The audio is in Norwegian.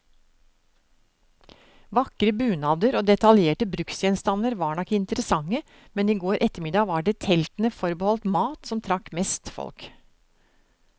Vakre bunader og detaljerte bruksgjenstander var nok interessante, men i går ettermiddag var det teltene forbeholdt mat, som trakk mest folk.